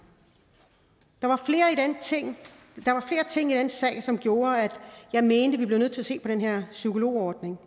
der var flere ting i den sag som gjorde at jeg mente at vi bliver nødt til at se på den her psykologordning